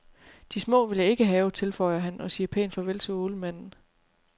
De små vil jeg ikke have, tilføjer han og siger pænt farvel til ålemanden.